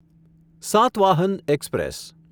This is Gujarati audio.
સાતવાહન એક્સપ્રેસ